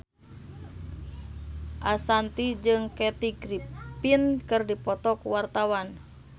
Ashanti jeung Kathy Griffin keur dipoto ku wartawan